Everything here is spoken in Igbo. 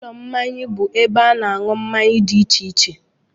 Ụlọ mmanya bụ ebe a na-aṅụ mmanya dị iche iche